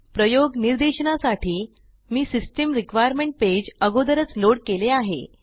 प्रयोग निर्देशनासाठी मी सिस्टम रिक्वायरमेंट पेज अगोदरच लोड केले आहे